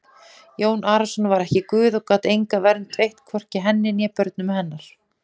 Jón Arason var ekki Guð og gat enga vernd veitt, hvorki henni né börnum hennar!